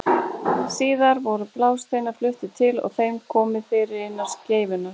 Síðar voru blásteinarnir fluttir til og þeim komið fyrir innan skeifunnar.